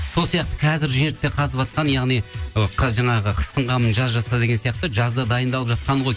сол сияқты қазір жерді де қазыватқан яғни ы жаңағы қыстың қамын жаз жаса деген сияқты жазда дайындалып жатқаны ғой